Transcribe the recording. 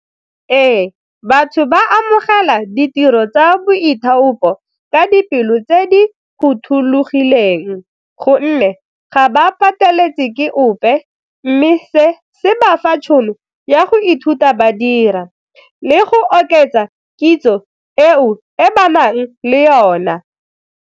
Ee, batho ba amogela ditiro tsa boithaopi ka dipelo tse di phothulogileng gonne ga ba pateletse ke ope mme se se ba fa tšhono ya go ithuta ba dira le go oketsa kitso eo e ba nang le yona.